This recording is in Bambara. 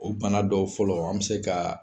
O bana dɔw fɔlɔ an be se ka